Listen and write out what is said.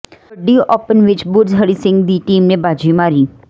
kabaddi open ਵਿੱਚ ਬੁਰਜ ਹਰੀ ਸਿੰਘ ਦੀ team ਨੇ ਬਾਜ਼ੀ ਮਾਰੀ